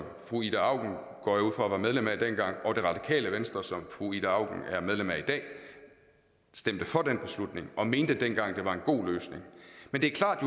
fru ida auken går jeg ud fra var medlem af dengang og det radikale venstre som fru ida auken er medlem af i dag stemte for den beslutning og mente dengang det var en god løsning men det er klart